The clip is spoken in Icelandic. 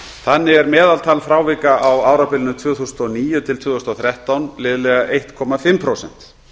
þannig er meðaltal frávika á árabilinu tvö þúsund og níu til tvö þúsund og þrettán liðlega fimmtán prósent